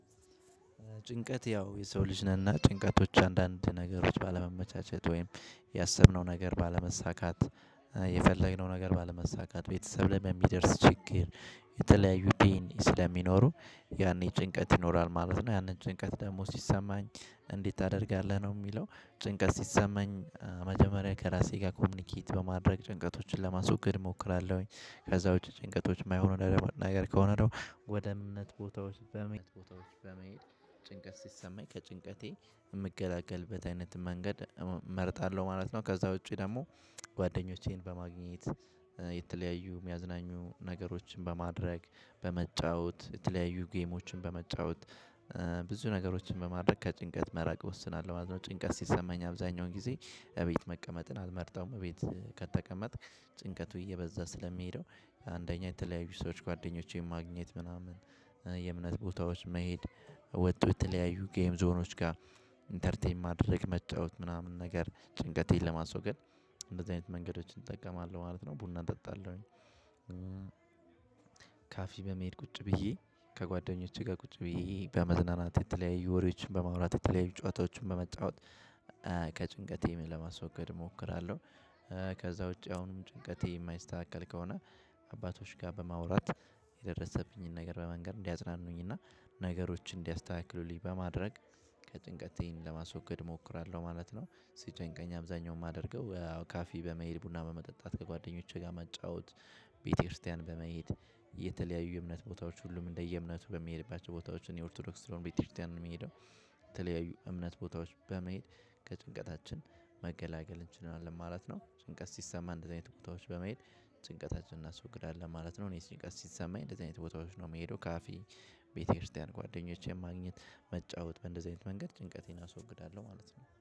ጭንቀት ያው የሰው ልጅ ነንና ጭንቀቶች አንዳንድ ነገሮች ባለመመቻቸት ወይም ያሰብነው ነገር ባለመሳካት የፈለግነው ነገር ባለመሳካት ቤተሰብ ላይ በሚደርስ ችግር የተለያዩ ፔን ስለሚኖሩ ያኔ ጭንቀት ይኖራል ማለት ነው። ያንን ጭንቀት ደግሞ ሲሰማኝ እንዴት ታደርጋለህ ነው ሚለው ጭንቀት ሲሰማኝ መጀመሪያ ከራሴ ጋር ኮሚኒኬት በማድረግ ጭንቀቶችን ለማስወገድ ሞክራለሁኝ። ከዛ ውጪ ጭንቀቶች ማይሆኑ መናገር ከሆነ ደሞ ወደ እምነት ቦታዎች በመሄድ ቦታዎች በመሄድ ጭንቀት ሲሰማኝ ከጭንቀቴ የምገላገልበት አይነት መንገድ እመርጣለሁ ማለት ነው። ከዛ ውጪ ደሞ ጓደኞቼን በማግኘት የተለያዩ የሚያዝናኙ ነገሮችን በማድረግ በመጫወት የተለያዩ ጌሞችን በመጫወት ብዙ ነገሮችን በማድረግ ከጭንቀት መራቅ እወስናለሁ ማለት ነው። ጭንቀት ሲሰማኝ አብዛኛውን ጊዜ እቤት መቀመጥን አልመርጥም እቤት ከተቀመጥክ ጭንቀቱ እየበዛ ስለሚሄደው አንደኛ የተለያዩ ሰዎች ጓደኞቼን ማግኘት ምናምን የእምነት ቦታዎች መሄድ ወቶ የተለያዩ ጌም ዞኖችጋ ኢንተርቴን ማድረግ መጫወት ምናምን ነገር ጭንቀቴን ለማስወገድ። እንደዚ አይነት መንገዶችን እጠቀማለው ማለት ነው ቡና ጠጣለሁኝ። ካፌ በመሄድ ቁጭ ብዬ ከጓደኞቼ ጋር ቁጭ ብዬ በመዝናናት የተለያዩ ወሬዎችን በማውራት የተለያዩ ጨዋታዎችን በመጫወት ከጭንቀቴ ለማስወገድ እሞክራለሁ። ከዛ ውጪ አሁንም ጭንቀቴ የማይስተካከል ከሆነ አባቶች ጋር በማውራት የደረሰብኝን ነገር በመንገር እንዲያጽናኑኝ እና ነገሮችን እንዲያስተካክሉልኝ በማድረግ ጭንቀቴን ለማስወገድ እሞክራለሁ ማለት ነው። ሲጨንቀኝ አብዛኛውን ማደርገው ካፌ በመሄድ ቡና በመጠጣት ከጓደኞቼ ጋር መጫወት ቤተክርስቲያን በመሄድ የተለያዩ እምነት ቦታዎች ሁሉም እንደየ እምነቱ በሚሄድባቸው ቦታዎች እኔ ኦርቶዶክስ ስለሆንኩ ቤተክርስቲያን ነው ምሄደው። የተለያዩ እምነት ቦታዎች በመሄድ ከጭንቀታችን መገላገል እንችላለን ማለት ነው። ጭንቀት ሲሰማ እንደዚህ አይነት ቦታዎች በመሄድ ጭንቀታችንን እናስወግዳለን ማለት ነው። እኔ ጭንቀት ሲሰማኝ እንደዚህ አይነት ቦታዎች ነው ሚሄደው ካፌ ቤተክርስቲያን ጓደኞቼን ማግኘት መጫወት በእንደዚህ አይነት መንገድ ጭንቀቴን አስወግዳለሁ ማለት ነው